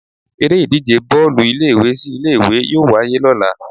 Eré ìdíje Bọ́ọ̀lù ilé ìwé sí ilé ìwé yóò wáyé lọ́la.